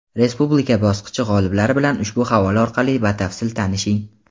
Respublika bosqichi g‘oliblari bilan ushbu havola orqali batafsil tanishing!.